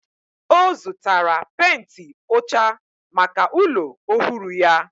O zutara penti ocha maka ulo ohuru ya.